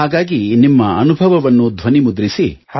ಹಾಗಾಗಿ ನಿಮ್ಮ ಅನುಭವವನ್ನು ಧ್ವನಿ ಮುದ್ರಿಸಿ